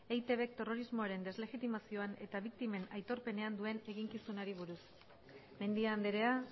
eitbk terrorismoaren deslegitimazioan eta biktimen aitorpenean duen eginkizunari buruz mendia andrea